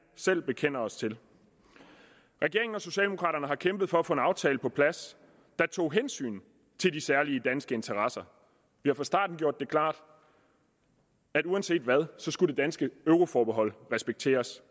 selv bekender os til regeringen og socialdemokraterne har kæmpet for at få en aftale på plads der tog hensyn til de særlige danske interesser vi har fra starten gjort det klart at uanset hvad skulle det danske euroforbehold respekteres